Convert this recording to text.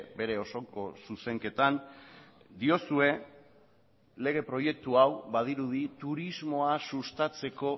bere osoko zuzenketan diozue lege proiektu hau badirudi turismoa sustatzeko